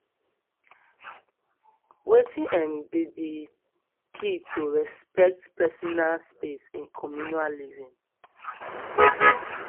wetin um be di key to respect personal space in communal living